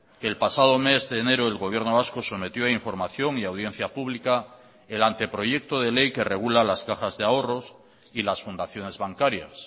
que el pasado mes de enero el gobierno vasco sometió a información y audiencia pública el anteproyecto de ley que regula las cajas de ahorros y las fundaciones bancarias